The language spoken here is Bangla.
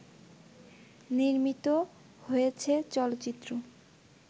নির্মিত হয়েছে চলচ্চিত্র